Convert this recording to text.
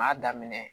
M'a daminɛ